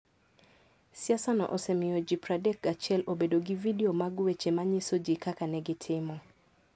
siasano osemiyo ji 31 obedo gi vidio mag weche manyiso ji kaka ne gitimo.